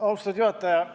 Austatud juhataja!